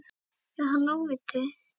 Er hann óviti?